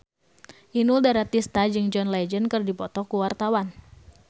Inul Daratista jeung John Legend keur dipoto ku wartawan